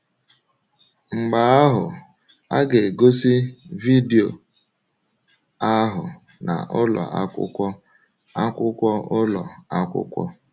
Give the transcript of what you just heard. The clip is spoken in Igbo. Mgbe ahụ, a ga-egosi vidio ahụ um na ụlọ akwụkwọ akwụkwọ ụlọ akwụkwọ.